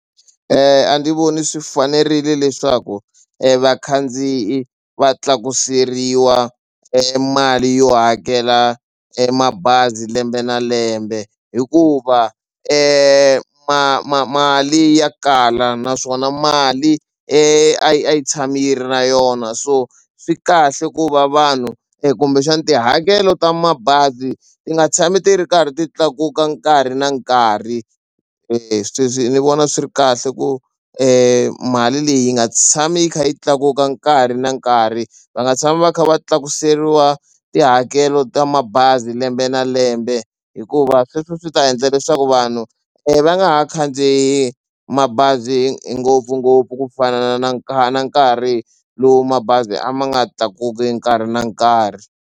A ndzi voni swi fanerile leswaku e vakhandziyi va tlakuseriwa e mali yo hakela e mabazi lembe na lembe hikuva ma ma mali ya kala naswona mali a yi a yi tshama yi ri na yona so swi kahle ku va vanhu kumbexana tihakelo ta mabazi ti nga tshami ti ri karhi ti tlakuka nkarhi na nkarhi. Sweswi ni vona swi ri kahle ku e mali leyi yi nga tshami yi kha yi tlakuka nkarhi na nkarhi va nga tshami va kha va tlakuseriwa tihakelo ta mabazi lembe na lembe hikuva sweswo swi ta endla leswaku vanhu va nga ha khandziyi mabazi ngopfungopfu ku fana na nkarhi na nkarhi lowu mabazi a ma nga tlakuki nkarhi na nkarhi.